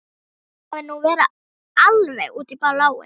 Ætli hún hafi nú verið alveg út í bláinn.